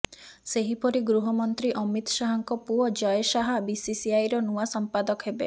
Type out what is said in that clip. ସେହିପରି ଗୃହ ମନ୍ତ୍ରୀ ଅମିତ୍ ଶାହଙ୍କ ପୁଅ ଜୟ ଶାହ ବିସିସିଆଇର ନୂଆ ସମ୍ପାଦକ ହେବେ